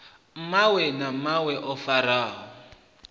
mawe na mawe o farwaho